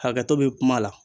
Hakɛto bɛ kuma la.